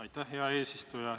Aitäh, hea eesistuja!